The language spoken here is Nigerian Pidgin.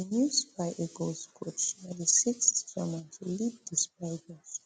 di new super eagles coach na di sixth german to lead di super eagles